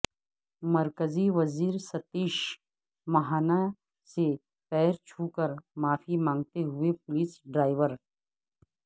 مرکزی وزیر ستیش مہانا سے پیر چھو کر معافی مانتے ہوئے پولس ڈرائیور